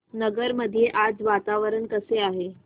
नगर मध्ये आज वातावरण कसे आहे